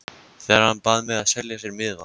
Þegar hann bað mig að selja sér miðann.